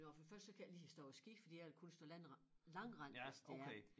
Det var for det første så kan jeg ikke lide at stå på ski for jeg vil kun stå på langrend langrend hvis det er